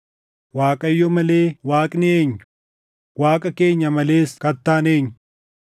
Waaqayyo malee Waaqni eenyu? Waaqa keenya malees Kattaan eenyu?